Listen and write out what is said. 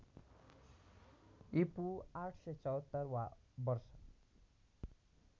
ईपू ८७४ वा वर्ष